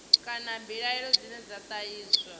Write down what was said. kana mbilaelo dzine dza ṱahiswa